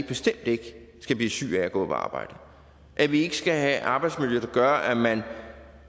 bestemt ikke skal blive syg af at gå på arbejde at vi ikke skal have et arbejdsmiljø der gør at man